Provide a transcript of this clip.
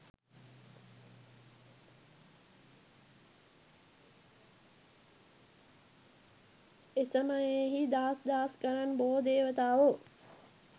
එසමයෙහි දහස් දහස් ගණන් බොහෝ දේවතාවෝ